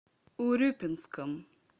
урюпинском